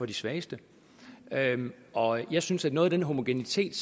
de svageste og jeg synes at noget af den homogenitet